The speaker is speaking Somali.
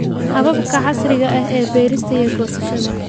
Hababka casriga ah ee beerista iyo goosashada.